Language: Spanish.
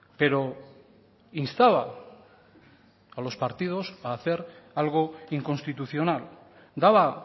pero instaba a los partidos a hacer algo inconstitucional daba